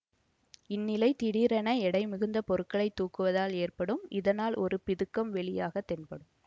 இந்நிலை திடீரென எடை மிகுந்த பொருட்களைத் தூக்குவதால் ஏற்படும் இதனால் ஓர் பிதுக்கம் வெளியாகத் தென்படும்